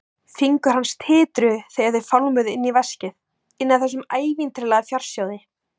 Fingur hans titruðu þegar þeir fálmuðu inn í veskið, inn að þessum ævintýralega fjársjóði.